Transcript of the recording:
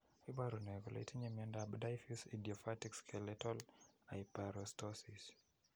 Iporu ne kole itinye miondap Diffuse idiopathic skeletal hyperostosis?